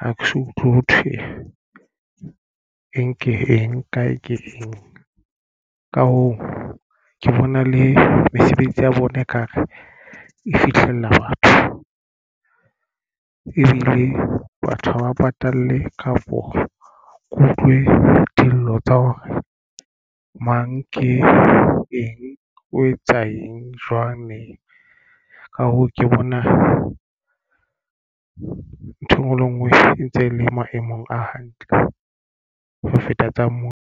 ha ke so utlwe ho thwe eng ke eng kae ke eng. Ka hoo ke bona le mesebetsi ya bona ekare e fihlela batho ebile batho ha ba patale kapo. Ke utlwe dillo tsa hore mang ke eng o etsa eng jwang neng, ka hoo ke bona ntho engwe le ngwe e ntse le maemong a hantle ho feta tsa moo.